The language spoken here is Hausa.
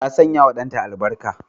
Ta sanyawa danta albarka.